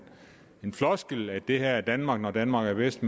floskel om at det her er danmark når danmark er bedst